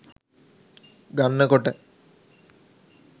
ගන්න කොට